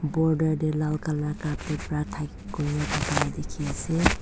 border tae lal colour carpet pra tha kurria dikiase.